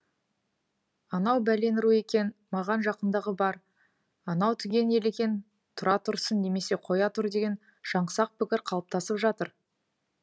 анау бәлен ру екен маған жақындығы бар анау түген ел екен тұра тұрсын немесе қоя тұр деген жаңсақ пікір қалыптасып жатыр